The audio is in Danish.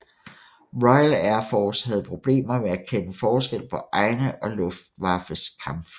Royal Air Force havde problemer med at kende forskel på egne og Luftwaffes kampfly